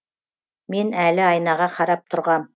мен әлі айнаға қарап тұрғам